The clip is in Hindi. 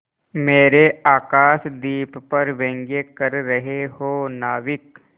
मेरे आकाशदीप पर व्यंग कर रहे हो नाविक